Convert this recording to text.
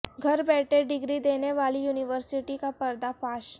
گھر بیٹھے ڈگری دینے والی یونیورسٹی کا پردہ فاش